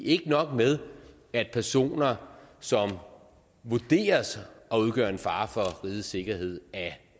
ikke nok med at personer som vurderedes at udgøre en fare for rigets sikkerhed af